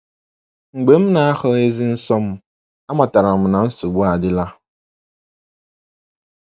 Mgbe m na - ahụghịzi nsọ m, amatara m na nsogbu adịla.